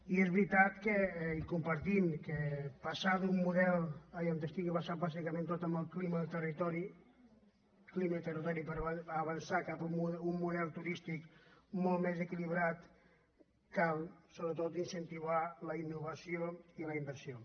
i és veritat i compartim que per passar d’un model que estigui basat bàsicament tot en el clima del territori clima i territori i avançar cap a un model turístic molt més equilibrat cal sobretot incentivar la innovació i la inversió